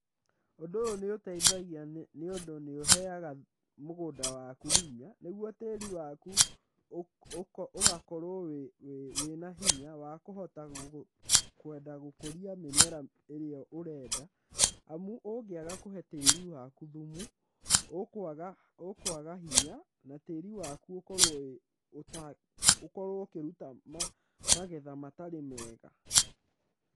Ũndũ ũyũ nĩ ũteithagia nĩ ũndũ nĩ ũheaga mũgũnda waku hinya, nĩguo tĩri waku ũgakorwo wĩ na hinya wa kũhota kwenda gũkũria mĩmera ĩrĩa ũrenda, amu ũngĩaga kũhe tĩri waku thumu, ũkũaga hinya na tĩri waku ũkorwo ũkĩruta magetha matarĩ mega.